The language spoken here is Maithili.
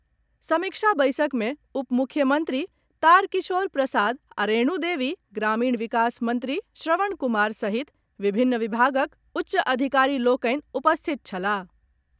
समीक्षा बैसक मे उपमुख्यमंत्री तारकिशोर प्रसाद आ रेणु देवी, ग्रामीण विकास मंत्री श्रवण कुमार सहित विभिन्न विभागक उच्च अधिकारी लोकनि उपस्थित छलाह।